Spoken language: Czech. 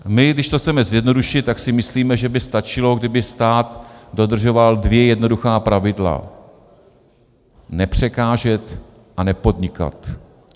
My, když to chceme zjednodušit, tak si myslíme, že by stačilo, kdyby stát dodržoval dvě jednoduchá pravidla: nepřekážet a nepodnikat.